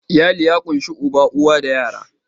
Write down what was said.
Iyali ya ƙunshi uba, uwa da yara.